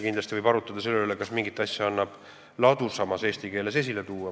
Kindlasti võib arutleda selle üle, kas mingit asja annaks ladusamas eesti keeles esile tuua.